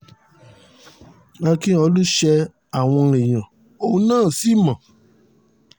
ákíọ̀lù ṣe àwọn èèyàn òun náà sí mọ́